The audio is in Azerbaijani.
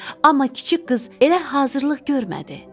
Amma kiçik qız elə hazırlıq görmədi.